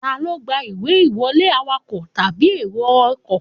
Ta ló gba ìwé ìwọlé, awakọ̀ tàbí èrò ọkọ̀